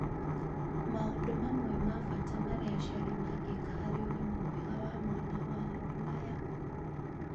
Maũndũ mamwe ma bata marĩa aciari mangĩka harĩ ũgima mwega wa mwana wao nĩ maya: